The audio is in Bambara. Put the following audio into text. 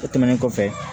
O tɛmɛnen kɔfɛ